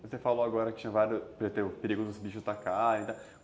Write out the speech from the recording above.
Você falou agora que tinha vários, o perigo dos bichos atacarem.